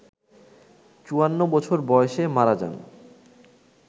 ৫৪ বছর বয়সে মারা যান